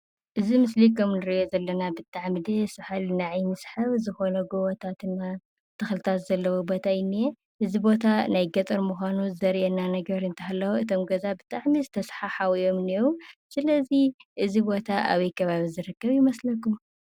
እዚ ምስሊ ከም እንሪኦ ዘለና ብጣዕሚ ደስ ዘብል ንዓይኒ ሰሓቢ ዝኾነ ጎቦታት ተኽሊታት ዘለዎ ቦታ እዩ ዝንሄ። እዚ ቦታ ናይ ገጠር ንምዃኑ ዘርኤና ነገር እንተሃለወ እቶም ገዛ ብጣዕሚ ዝተሰሓሓቡ እዮም ዝንሄዉ። ስለዚ እዚ ቦታ ኣበይ ከባቢ ዝርከብ ይመስለኩም?